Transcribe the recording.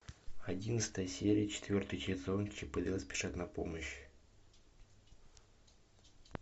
одиннадцатая серия четвертый сезон чип и дейл спешат на помощь